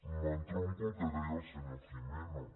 i entronco amb el que deia el senyor gimeno